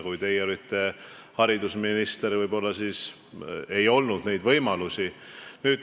Kui teie olite haridusminister, võib-olla siis ei olnud neid võimalusi.